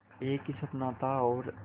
एक ही सपना था और